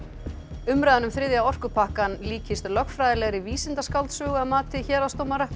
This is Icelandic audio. umræðan um þriðja orkupakkann líkist lögfræðilegri vísindaskáldsögu að mati héraðsdómara